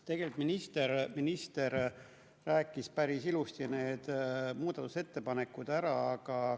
Tegelikult minister rääkis päris ilusti need muudatusettepanekud ära.